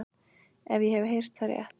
Ef ég hef heyrt það rétt.